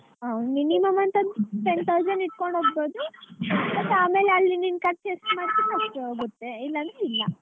ಹಾ minimum ಅಂತಂದ್~ ten thousand ಇಟ್ಕೊಂಡೊಗ್ಬೋದು but ಆಮೇಲೆ ಅಲ್ಲಿ ನಿನ್ನ್ ಖರ್ಚು ಎಷ್ಟ್ ಮಾಡ್ತೀರಿ ಅಷ್ಟ್ ಆಗತ್ತೆ ಇಲ್ಲ ಅಂದ್ರೆ ಇಲ್ಲ.